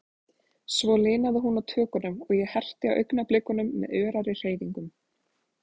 Svo linaði hún á tökunum, og ég herti á augnablikunum með örari hreyfingum.